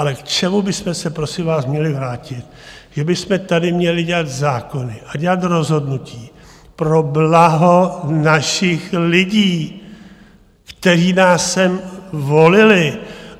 Ale k čemu bychom se prosím vás měli vrátit, že bychom tady měli dělat zákony a dělat rozhodnutí pro blaho našich lidí, kteří nás sem volili.